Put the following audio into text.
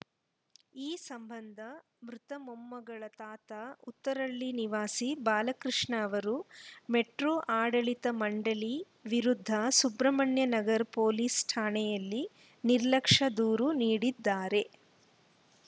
ಈ ಸಂಬಂಧ ಮೃತ ಮೊಮ್ಮಗಳ ತಾತಾ ಉತ್ತರಹಳ್ಳಿ ನಿವಾಸಿ ಬಾಲಕೃಷ್ಣ ಅವರು ಮೆಟ್ರೋ ಆಡಳಿತ ಮಂಡಳಿ ವಿರುದ್ಧ ಸುಬ್ರಹ್ಮಣ್ಯ ನಗರ್ ಪೊಲೀಸ್‌ ಠಾಣೆಯಲ್ಲಿ ನಿರ್ಲಕ್ಷ್ಯ ದೂರು ನೀಡಿದ್ದಾರೆ